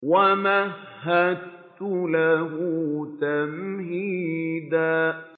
وَمَهَّدتُّ لَهُ تَمْهِيدًا